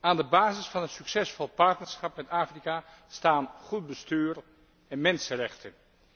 Aan de basis van een succesvol partnerschap met Afrika staan goed bestuur en mensenrechten.